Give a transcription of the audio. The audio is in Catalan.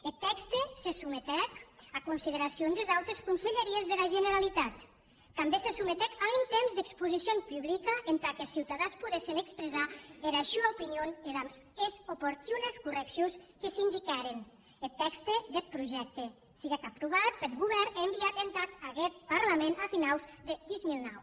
eth tèxte se sometec a consideracion des autes conselheries dera generalitat tanben se sometec a un temps d’exposicion publica entà qu’es ciutadans podessen expressar era sua opinion e damb es oportunes correccions que s’indiquèren eth tèxte deth projècte siguec aprovat peth govèrn e enviat entad aguest parlament a finaus de dos mil nou